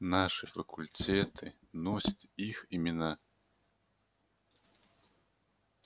наши факультеты носят их имена